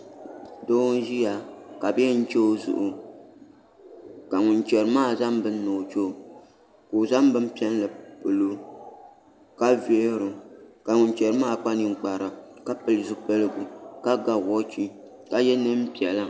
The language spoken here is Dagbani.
Doo n ʒiya ka bi yɛn chɛ o zuɣu ka ŋun chɛri maa zaŋ bini ni o chɛo ka o zaŋ bin piɛlli pilo ka vihiro ka ŋun chɛri maa kpa ninkpara ka pili zipiligu ka ga woichi ka yɛ neen piɛla